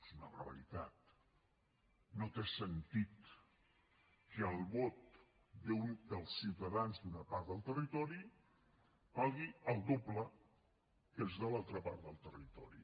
és una barbaritat no té sentit que el vot dels ciutadans d’una part del territori valgui el doble que els de l’altra part del territori